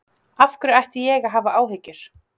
Af hverju ætti ég að hafa áhyggjur?